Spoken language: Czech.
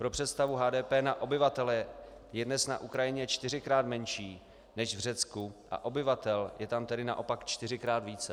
Pro představu, HDP na obyvatele je dnes na Ukrajině čtyřikrát menší než v Řecku a obyvatel je tam tedy naopak čtyřikrát více.